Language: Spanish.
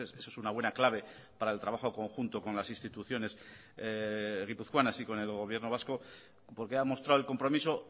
eso es una buena clave para el trabajo conjunto con las instituciones guipuzcoanas y con el gobierno vasco porque ha mostrado el compromiso